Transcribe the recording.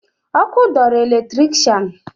Ọkụ dọọrọ eletrikshan